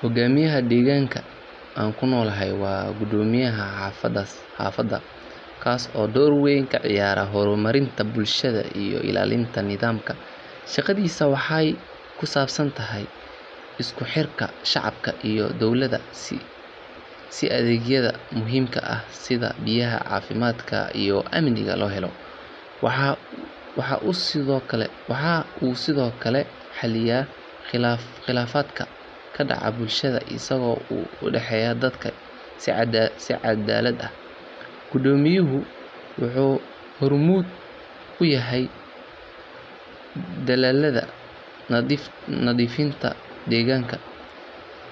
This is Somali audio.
Hoggaamiyaha deegaanka aan ku noolahay waa guddoomiyaha xaafadda kaas oo door weyn ka ciyaara horumarinta bulshada iyo ilaalinta nidaamka. Shaqadiisu waxay ku saabsan tahay isku xirka shacabka iyo dowladda si adeegyada muhiimka ah sida biyaha, caafimaadka, iyo amniga loo helo. Waxa uu sidoo kale xaliyaa khilaafaadka ka dhaca bulshada isaga oo u dhaxeeya dadka si cadaalad ah. Guddoomiyuhu wuxuu hormuud u yahay dadaallada nadiifinta deegaanka,